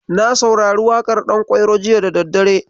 Na saurari waƙar Ɗankwairo jiya da daddare.